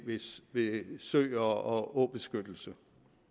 ved søer og åbeskyttelse